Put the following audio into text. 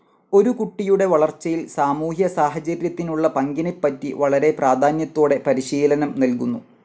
ഒരു കുട്ടിയുടെ വളർച്ചയിൽ സാമൂഹ്യ സാഹചര്യത്തിനുള്ള പങ്കിനെപ്പറ്റി വളരെ പ്രാധാന്യത്തോടെ പരിശീലനം നൽകുന്നു.